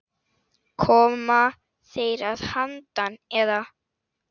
Koma þeir að handan, eða?